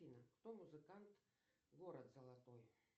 афина кто музыкант город золотой